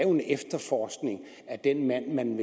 en efterforskning af den mand man